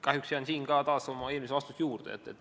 Kahjuks jään taas oma eelmise vastuse juurde.